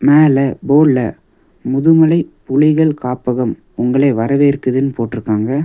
மேல போர்டுல முதுமலை புலிகள் காப்பகம் உங்களை வரவேற்குதுனு போட்ருக்காங்க.